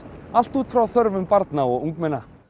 allt út frá þörfum barna og ungmenna